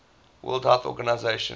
world health organization